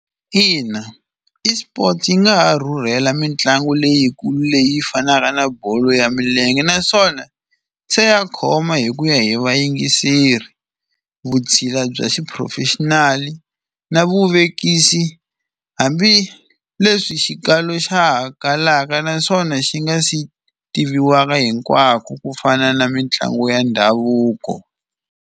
Ina eSports yi nga ha rhurhela mitlangu leyikulu leyi fanaka na bolo ya milenge, naswona se ya khoma hi ku ya hi vayingiseri vutshila bya xiphurofexinali na vuvekisi hambileswi xikalo xa ha kalaka naswona xi nga si tiviwaka hinkwako kufana na mitlangu ya ndhavuko.